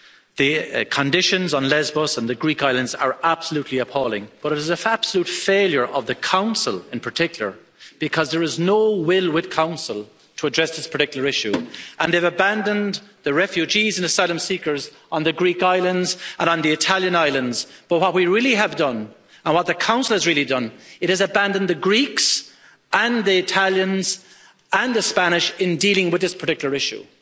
The conditions on Lesbos and the Greek islands are absolutely appalling, but it is an absolute failure of the Council in particular because there is no will with the Council to address this particular issue and they've abandoned the refugees and asylum seekers on the Greek islands and on the Italian islands, but what we really have done and what the Council has really done it has abandoned the Greeks and the Italians and the Spanish in dealing with this particular issue.